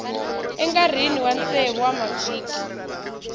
enkarhini wa tsevu wa mavhiki